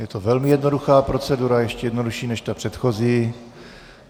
Je to velmi jednoduchá procedura, ještě jednodušší než ta předchozí.